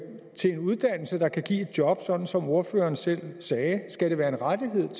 til en uddannelse der kan give et job sådan som ordføreren selv sagde skal det være en rettighed